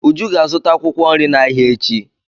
Uju ga-azụta akwụkwọ nri n'ahịa echi.